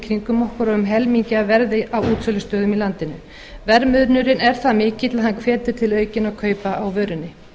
kringum okkur og um helmingi af verði á útsölustöðum í landinu verðmunurinn er það mikill að hann hvetur til aukinna kaupa á vörunni